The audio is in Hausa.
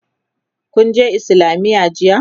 kunje islamiya jiya?